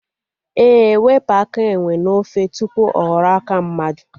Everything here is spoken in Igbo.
Ee, wepụ aka enwe n'ofe tupu ọ ghọrọ aka mmadụ